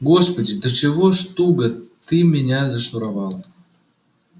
господи до чего ж туго ты меня зашнуровала